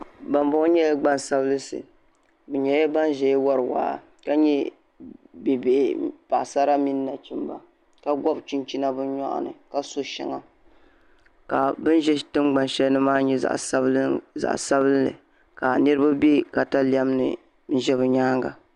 Ban boŋo nyɛla gban sabila bi nyɛla ban ʒɛya wori waa ka nyɛ bibihi paɣasra mini nachimba ka gobi chinchina bi nyoɣini ka so shɛŋa ka bin ʒɛ tingbani shɛli ni maa nyɛ zaɣ piɛlli ni zaɣ sabinli ka niraba bɛ katalɛmni ʒɛ bi nyaanga